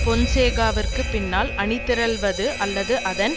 பொன்சேகாவிற்கு பின்னால் அணிதிரள்வது அல்லது அதன்